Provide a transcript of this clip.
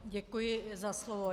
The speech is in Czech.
Děkuji za slovo.